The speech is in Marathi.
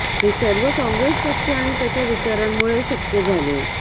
हे सर्व काँग्रेस पक्ष आणि त्याच्या विचारांमुळे शक्य झाले